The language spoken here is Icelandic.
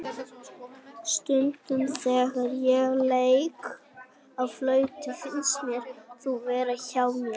Stundum þegar ég leik á flautuna finnst mér þú vera hjá mér.